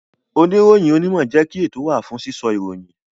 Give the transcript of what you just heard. Oniroyin onimo jẹ́ kí àwọn ètò wa fún sísọ ìròyìn